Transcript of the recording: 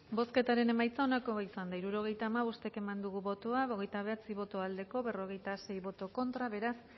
bozketaren emaitza onako izan da hirurogeita hamabost eman dugu bozka hogeita bederatzi boto aldekoa cuarenta y seis contra beraz